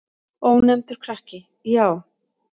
Ónefndur krakki: Já.